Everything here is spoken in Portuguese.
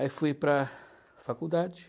Aí fui para a faculdade.